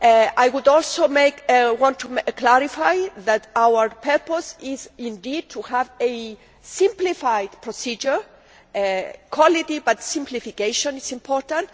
I also want to clarify that our purpose is indeed to have a simplified procedure quality but simplification is important.